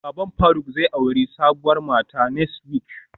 Baban faruk zai auri sabuwar mata next week